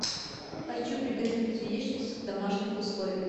хочу приготовить яичницу в домашних условиях